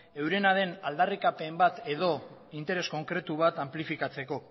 eurena den aldarrikapen bat edo interes konkretu bat anplifikatzeko